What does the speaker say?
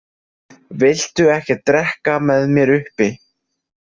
Viltu ekki drekka með mér uppi?